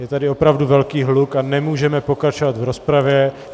Je tady opravdu velký hluk a nemůžeme pokračovat v rozpravě.